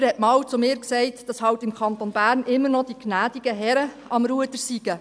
Jemand sagte einmal zu mir, dass halt im Kanton Bern immer noch die gnädigen Herren am Ruder seien.